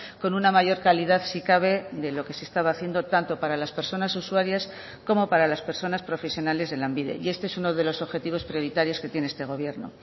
con una mayor calidad si cabe de lo que se estaba haciendo tanto para las personas usuarias como para las personas profesionales de lanbide y este es uno de los objetivos prioritarios que tiene este gobierno